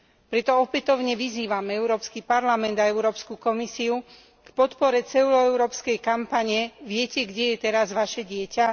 Preto opätovne vyzývam Európsky parlament a Európsku komisiu na podporu celoeurópskej kampane Viete, kde je teraz vaše dieťa?